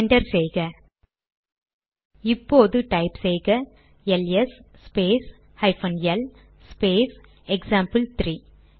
enter செய்க இப்போது type செய்க L S space hyphen L space எக்சாம்பிள்3